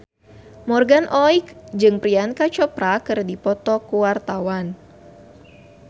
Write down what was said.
Morgan Oey jeung Priyanka Chopra keur dipoto ku wartawan